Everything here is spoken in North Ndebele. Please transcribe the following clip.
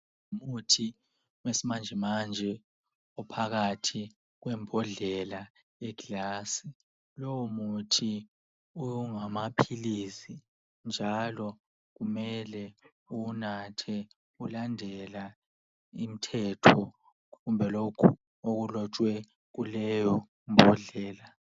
Umuthi wesimanjemanje uphakathi kwembodlela le glass. Lowo muthi ungamaphilisi njalo kumele uwunathe ulandela imthetho kumbe lokhu okulotshwe kuleyo mbodlela